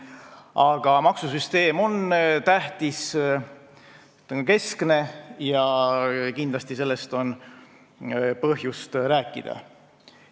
Aga maksusüsteem on tähtis, ta on keskne, ja kindlasti sellest on põhjust rääkida.